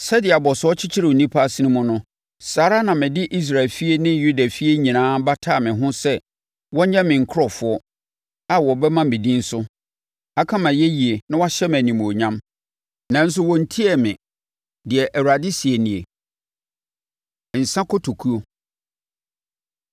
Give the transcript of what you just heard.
Sɛdeɛ abɔsoɔ kyekyere onipa asene mu no saa ara na mede Israel efie ne Yudafie nyinaa bataa me ho sɛ wɔnyɛ me nkurɔfoɔ a wɔbɛma me din so, aka mʼayɛyie na wɔahyɛ me animuonyam, nanso wɔntiee me,’ deɛ Awurade seɛ nie. Nsã Kotokuo